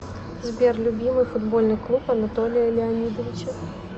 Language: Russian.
сбер любимый футбольный клуб анатолия леонидовича